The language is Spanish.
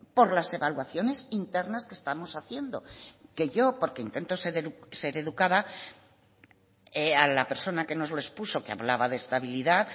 por las evaluaciones internas que estamos haciendo que yo porque intento ser educada a la persona que nos lo expuso que hablaba de estabilidad